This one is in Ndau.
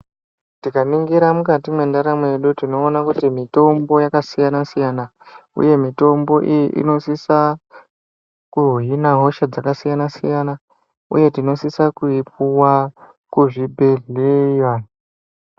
Tikaningira mukati mwendaramo yedu tinoona kuti mitombo yakasiyana-siyana uye mitombo iyi inosisa kuhina hosha dzakasiyana-siyana uye tinosisa kuipuwa kuzvibhehleya.